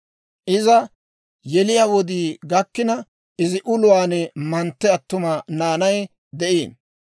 Iza yeliyaa wodii gakkina, izi uluwaan mantte attuma naanay de'iino.